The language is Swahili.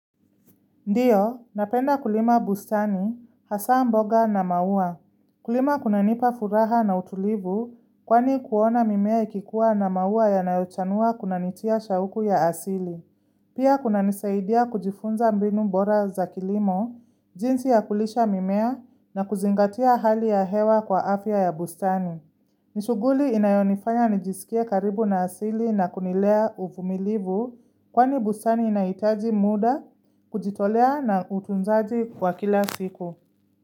Ndiyo, napenda kulima bustani, hasa mboga na maua. Kulima kuna nipa furaha na utulivu kwani kuona mimea ikikuwa na maua ya nayotanua kunanitia shauku ya asili. Pia kuna nisaidia kujifunza mbinu mbora za kilimo, jinsi ya kulisha mimea na kuzingatia hali ya hewa kwa afya ya bustani. Nishuguli inayonifanya nijisikia karibu na asili na kunilea uvumilivu kwani busani inaitaji muda kujitolea na utunzaji wa kila siku.